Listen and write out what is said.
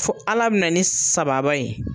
Fo Ala bɛna ni sababa ye.